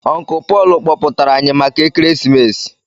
Uncle Paul kpọpụtara anyị maka ekeresimesi